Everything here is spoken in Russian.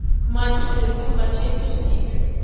матч ливерпуль манчестер сити